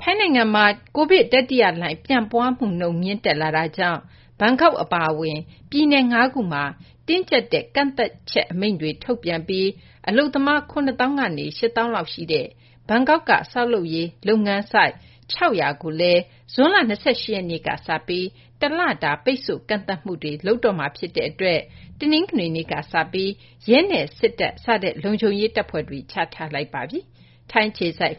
ထိုင်းနိုင်ငံမှာ ကိုဗစ်တတိယလှိုင်း ပြန့်ပွားမှုနှုန်း မြင့်တက်လာနေတာကြောင့် ဘန်ကောက်အပါအဝင် ပြည်နယ် ၅ ခုမှာ တင်းကျပ်တဲ့ ပိတ်ဆို့ကန့်သတ်တဲ့ အမိန့်ကို ထုတ်ပြန်ပြီး အလုပ်သမား ၇ သောင်းကနေ ၈ သောင်းလောက်ရှိတဲ့ ဘန်ကောက်က ဆောက်လုပ်ရေးအလုပ်ဆိုက် ၆၀၀ ကိုလည်း ဇွန်လ ၂၈ ရက်နေ့ကစပြီး တလပိတ်ဆို့ကန့်သတ်မှုတွေ လုပ်တော့မှာ ဖြစ်တဲ့အတွက် တနင်္ဂနွေနေ့ကစပြီး ရဲနဲ့ စစ်တပ် စတဲ့ လုံခြုံရေးတပ်ဖွဲ့တွေ ချထားလိုက်ပါပြီ။ အပြည့်အစုံ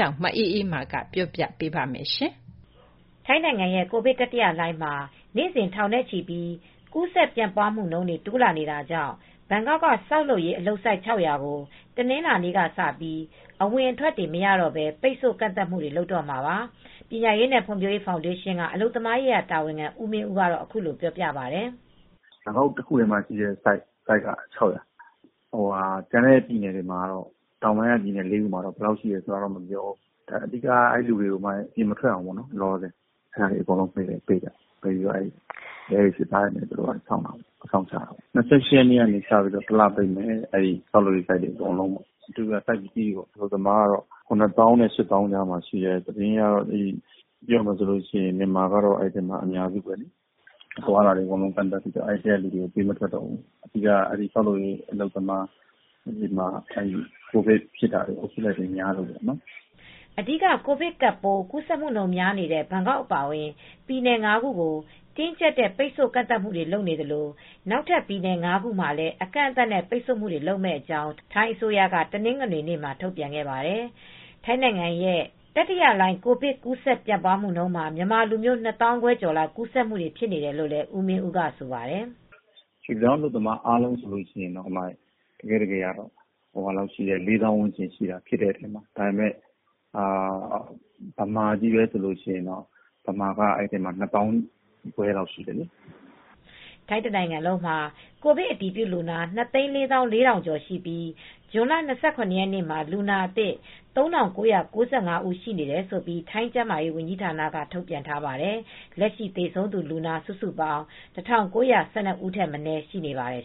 ကို မအေးအေးမာ တင်ပြပေးထားပါတယ်။ ထိုင်းနိုင်ငံရဲ့ ကိုဗစ်တတိယလှိုင်းမှာ နေ့စဉ် ထောင်နဲ့ချီပြီး ကူးစက်ပြန့်ပွားမှုတွေ တိုးလာနေတာကြောင့် ဘန်ကောက်က ဆောက်လုပ်ရေးအလုပ်ဆိုက် ၆၀၀ ကို တနင်္လာနေ့ကစပြီး အဝင်အထွက်တွေ မရတော့ဘဲ ပိတ်ဆို့ကန့်သတ်မှုတွေ လုပ်တော့မှာပါ။ ပညာရေးနဲ့ ဖွံ့ဖြိုးရေး ဖောင်ဒေးရှင်းက အလုပ်သမားရေးရာ တာဝန်ခံ ဦးမင်းဦးက အခုလိုပြောပြပါတယ်။ “ဘန်ကောက်တခုတည်းမှာပဲ ဆိုက်က ၆၀၀၊ ကျန်တဲ့ပြည်နယ်တွေ တောင်ပိုင်းက ပြည်နယ်လေးခုမှာတော့ ဘယ်လောက်ရှိတယ် မပြောဘူး။ အဓိကကတော့ အဲဒီလူတွေကို အပြင်မထွက်အောင် ပိတ်ပြီး ရဲတွေ၊ စစ်သားတွေ အစောင့်ချထားတယ်၊ အစောင့်ထားတယ်။ ၂၈ ရက်နေ့ကကစပြီး တလပိတ်မယ်။ ဆောက်လုပ်ရေးဆိုက်တွေ အကုန်လုံးပေါ့။ အဓိကဆိုက်ကြီးတွေ၊ အလုပ်သမားက ၇ သောင်းနဲ့ ၈ သောင်းကြားရှိတယ်။ အလုပ်သမားတွေက မြန်မာကတော့ အများစုပဲ။ အသွားအလာတွေ ကန့်သတ်ပြီးတော့ အဲဒီထဲကနေ ပေးမထွက်တော့ဘူး။ အဓိကတော့ ဆောက်လုပ်ရေး အလုပ်သမားတွေက ကိုဗစ်ဖြစ်တာ ကူးစက်မှုတွေများလို့ပေါ့။” အဓိက ကိုဗစ်ကပ်ပိုး ကူးစက်မှုများနေတဲ့ ဘန်ကောက်အပါအဝင် ပြည်နယ် ၅ ခုကို တင်းကျပ်တဲ့ ပိတ်ဆို့ကန့်သတ်မှုတွေ လုပ်သလို နောက်ထပ်ပြည်နယ် ၅ ခုမှာလည်း အကန့်အသတ်နဲ့ ပိတ်ဆို့မှုတွေ လုပ်မယ့်အကြောင်း ထိုင်းအစိုးရက တနင်္ဂနွေနေ့မှာ ထုတ်ပြန်ခဲ့ပါတယ်။ ထိုင်းနိုင်ငံရဲ့ တတိယလှိုင်း ကိုဗစ်ကပ်ပိုး ကူးစက်မှုမှာ မြန်မာလူမျိုး ၂ သောင်းခွဲကျော်လောက် ကူးစက်မှု ဖြစ်နေတယ်လို့လည်း ဦးမင်းဦးက ဆိုပါတယ်။ “ရွှေ့ပြောင်းအလုပ်သမား အားလုံးဆိုရင်တော့ ၄ သောင်းဝန်းကျင်လောက်ရှိတယ်။ အဲဒီထဲမှာက မြန်မာချည်းပဲဆိုရင် မြန်မာက အဲဒီထဲမှာ ၂ သောင်းခွဲကျော်ရှိတယ်။” ထိုင်းတနိုင်ငံလုံးမှာ ကိုဗစ်အတည်ပြုလူနာ ၂၄၄,၀၀၀ ကျော်ရှိပြီး ဇွန်လ ၂၇ ရက်နေ့မှာ လူနာအသစ် ၃,၉၉၅ ဦးရှိတယ်လို့ ထိုင်းကျန်းမာရေးဌာနက ထုတ်ပြန်ထားပါတယ်။ လက်ရှိ သေဆုံးလူနာ စုစုပေါင်း ၁,၉၁၂ ဦးထက်မနည်း ရှိနေပါတယ်